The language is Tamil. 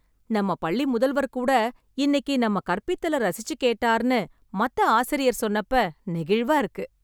நம்ம பள்ளி முதல்வர் கூட இன்னிக்கு நம்ம கற்பித்தல ரசிச்சு கேட்டார்னு மத்த ஆசிரியர் சொன்னப்ப நெகிழ்வா இருக்கு.